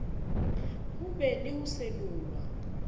ho be le ho senolwa